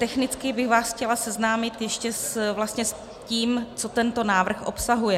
Technicky bych vás chtěla seznámit ještě s tím, co tento návrh obsahuje.